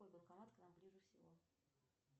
какой банкомат к нам ближе всего